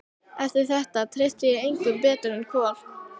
Eftir þetta treysti ég engum betur en Kol.